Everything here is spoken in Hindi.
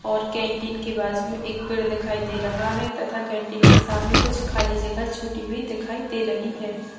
और कैंटीन के बाजू में एक पेड़ दिखाई दे रहा है तथा कैंटीन के सामने कुछ खाली जगह छुटी हुई दिखाई दे रही है।